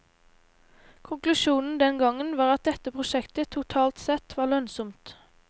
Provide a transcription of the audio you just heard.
Konklusjonen den gangen var at dette prosjektet totalt sett var lønnsomt.